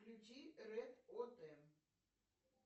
включи ред о т